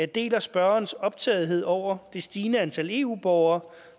deler spørgerens optagethed over det stigende antal eu borgere